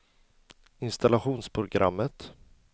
installationsprogrammet